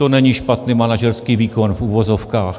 To není špatný manažerský výkon, v uvozovkách.